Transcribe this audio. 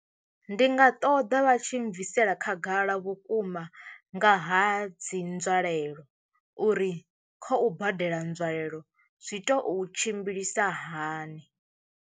Ndi nga ṱoḓa vha tshi bvisela khagala vhukuma nga ha dzi nzwalelo uri kha u badela nzwalelo zwi tea u tshimbilisa hani.